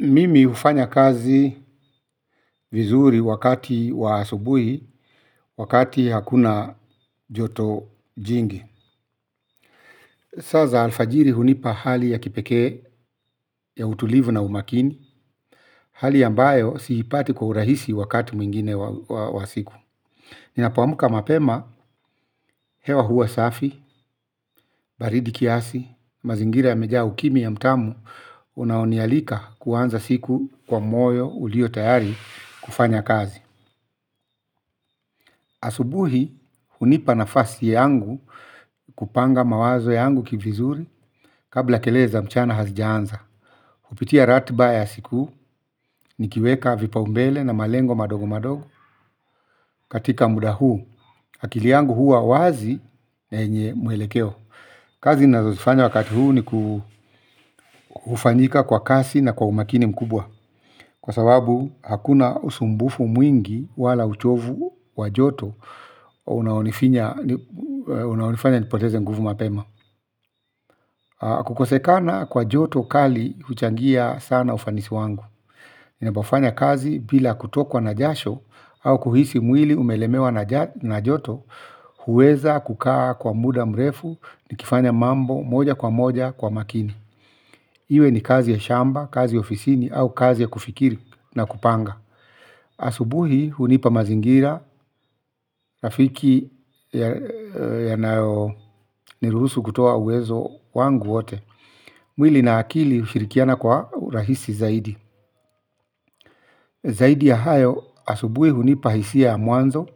Mimi hufanya kazi vizuri wakati wa asubuhi, wakati hakuna joto jingi. Saa za alfajiri hunipa hali ya kipekee ya utulivu na umakini hali ambayo siipati kwa urahisi wakati mwingine wa siku. Ninapo amka mapema, hewa huwa safi, baridi kiasi, mazingira ya mejaa ukimya mtamu, unaonialika kuanza siku kwa moyo ulio tayari kufanya kazi. Asubuhi hunipa nafasi yangu kupanga mawazo yangu kivizuri kabla kelele za mchana hazijaanza. Kupitia ratiba ya siku nikiweka vipa umbele na malengo madogo madogo katika muda huu. Akili yangu huwa wazi na yenye mwelekeo kazi ninazozifanya wakati huu ni kuu hufanyika kwa kasi na kwa umakini mkubwa kwa sababu hakuna usumbufu mwingi wala uchovu wa joto unaonifinya unaonifanya nipoteze nguvu mapema. Kukosekana kwa joto kali huchangia sana ufanisi wangu ninapofanya kazi bila kutokwa na jasho au kuhisi mwili umelemewa na jat na joto. Huweza kukaa kwa muda mrefu. Nikifanya mambo moja kwa moja kwa makini. Iwe ni kazi ya shamba, kazi ya ofisini au kazi ya kufikiri na kupanga. Asubuhi hunipa mazingira rafiki ya nayo niruhusu kutoa uwezo wangu wote. Mwili na akili hushirikiana kwa urahisi zaidi. Zaidi ya hayo asubuhi hunipa hisia ya mwanzo